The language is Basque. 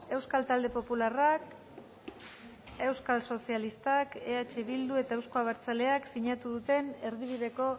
euskal talde popularrak euskal sozialistak eh bildu eta euzko abertzaleak sinatu duten erdibideko